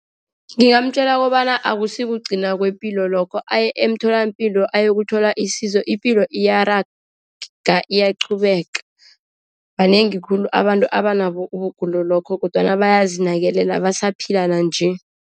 Ngingamtjela kobana akusikugcina kwepilo lokho aye emtholampilo ayokuthoma isizo. Ipilo iyaraga, iyaqhubeka. Banengi khulu abantu abanabo ubugula lokho kodwana bayazinakelela, basaphila nanje.